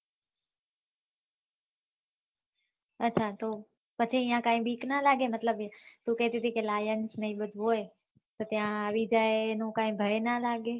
અચ્છા તો પછી ક્યાય બીક ના લાગે મતલબ તું કેહતી થી lion ને એ બધું હોય તો ત્યાય આવી જાયે એનું ક્યાય ભય ના લાગે